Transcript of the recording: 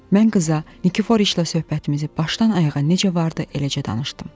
Mən qıza Nikiforiçlə söhbətimizi başdan-ayağa necə vardı eləcə danışdım.